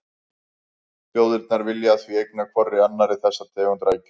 Þjóðirnar vilja því eigna hvorri annarri þessa tegund rækju.